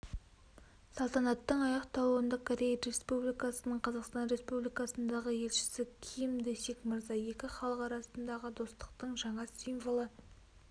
салтанаттың аяқталуында корея республикасының қазақстан республикасындағы елшісі ким дэсик мырза екі халық арасындағы достықтың жаңа символы